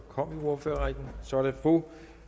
kom i ordførerrækken så er det fru